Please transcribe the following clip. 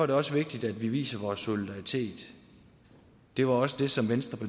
det også vigtigt at vi viser vores solidaritet det var også det som venstre